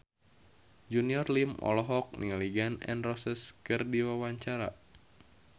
Junior Liem olohok ningali Gun N Roses keur diwawancara